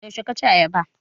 Yaushe ka ci ayaba?